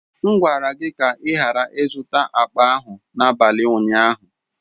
M gwara gị ka ị ghara ịzụta akpa ahụ n'abalị ụnyaahụ!